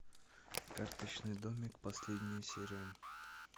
карточный домик последняя серия